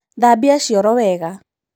Thambia cioro wega.